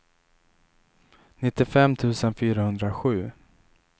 nittiofem tusen fyrahundrasju